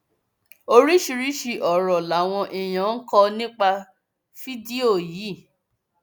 oríṣiríṣiì ọrọ làwọn èèyàn kọ nípa fídíò yìí